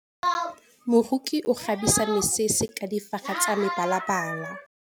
Moroki o kgabisa mesese ka difaga tsa mebalabala.